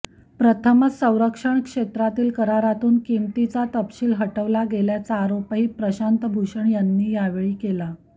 प्रथमच संरक्षण क्षेत्रातील करारातून किमतीचा तपशील हटवला गेल्याचा आरोपही प्रशांत भूषण यांनी यावेळी केला